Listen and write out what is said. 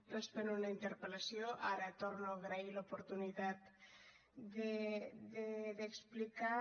responent una interpel·lació ara torno a agrair l’oportunitat d’explicar